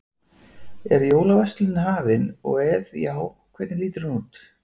Er jólaverslunin hafin og ef já, hvernig lítur hún út?